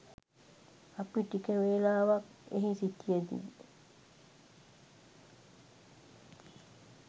අපි ටික වේලාවක් එහි සිටියදී